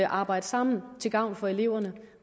arbejde sammen til gavn for eleverne